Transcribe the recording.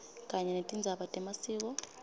kanye netindzaba temasiko